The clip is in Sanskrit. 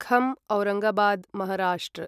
खं औरंगाबाद् महाराष्ट्र